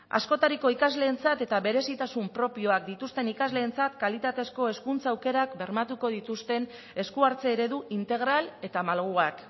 askotariko ikasleentzat eta berezitasun propioak dituzten ikasleentzat kalitatezko hezkuntza aukerak bermatuko dituzten esku hartze eredu integral eta malguak